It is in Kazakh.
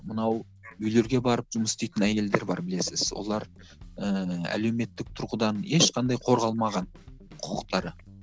мынау үйлерге барып жұмыс істейтін әйелдер бар білесіз олар ііі әлеуметтік тұрғыдан ешқандай қорғалмаған құқықтары